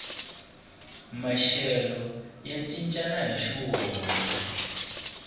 maxelo ya cincana hixi wona